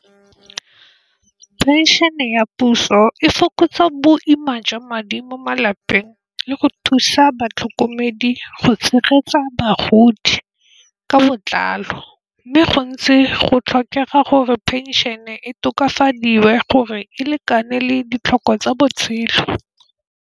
Phenšene ya puso e fokotsa boima jwa madi mo malapeng le go thusa batlhokomedi go tshegetsa bagodi ka botlalo, mme go ntse go tlhokega gore phenšene e tokafadiwe gore e lekane le ditlhoko tsa botshelo.